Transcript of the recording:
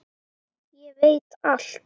Ég veit allt!